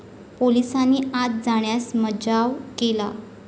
पोलिसांनी आत जाण्यास मज्जाव केला.